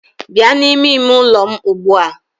Bịa n'ime ime ụlọ m ugbu a!